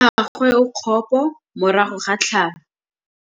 Mmagwe o kgapô morago ga tlhalô.